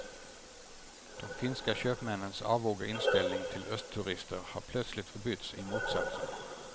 De finska köpmännens avoga inställning till östturister har plötsligt förbytts i motsatsen.